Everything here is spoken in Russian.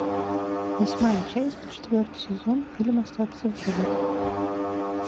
восьмая часть четвертый сезон фильм остаться в живых